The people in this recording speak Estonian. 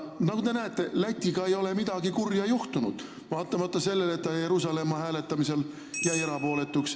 Nagu te näete, Lätiga ei ole midagi kurja juhtunud, vaatamata sellele, et ta Jeruusalemma hääletamisel jäi erapooletuks ...